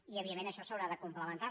i evidentment això s’haurà de complementar